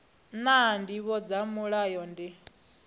naa ndivho dza mulayo ndi